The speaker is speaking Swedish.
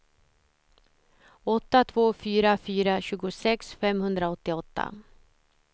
åtta två fyra fyra tjugosex femhundraåttioåtta